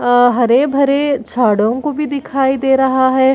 अअ हरे-भरे झाड़ो को भी दिखाई दे रहा है।